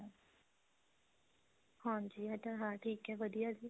ਹਾਂਜੀ ਇਹ ਤਾਂ ਹੈ ਠੀਕ ਹੈ ਵਧੀਆ ਜੀ